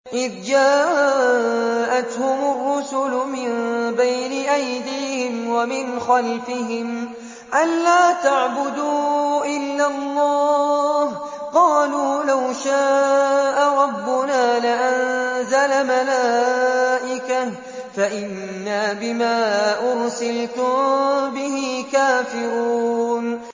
إِذْ جَاءَتْهُمُ الرُّسُلُ مِن بَيْنِ أَيْدِيهِمْ وَمِنْ خَلْفِهِمْ أَلَّا تَعْبُدُوا إِلَّا اللَّهَ ۖ قَالُوا لَوْ شَاءَ رَبُّنَا لَأَنزَلَ مَلَائِكَةً فَإِنَّا بِمَا أُرْسِلْتُم بِهِ كَافِرُونَ